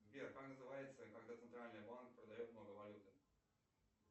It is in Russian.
сбер как называется когда центральный банк продает много валюты